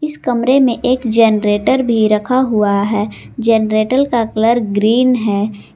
इस कमरे में एक जनरेटर भी रखा हुआ है जनरेटर का कलर ग्रीन है।